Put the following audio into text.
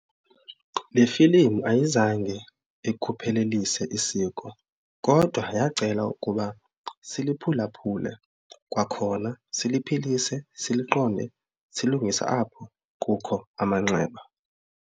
Le filimu ayizange ikhuphelelise isiko kodwa yacela ukuba siliphulaphule kwakhona siliphilise, siliqonde, silungise apho kukho amanxeba.